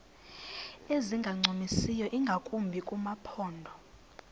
ezingancumisiyo ingakumbi kumaphondo